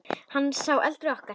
Hann er sá eldri okkar.